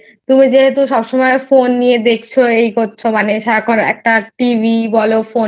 তুমি যেহেতু সবসময় Phone নিয়ে দেখছো এই করছো মানে সারাক্ষন একটানা TV বোলো Phone